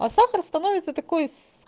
а сахар становится такой